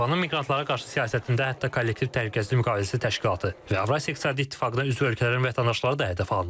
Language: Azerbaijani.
Moskvanın miqrantlara qarşı siyasətində hətta kollektiv təhlükəsizlik müqaviləsi təşkilatı və Avrasiya İqtisadi İttifaqına üzv ölkələrin vətəndaşları da hədəfə alınıb.